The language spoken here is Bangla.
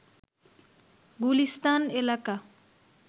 গুলিস্তান এলাকা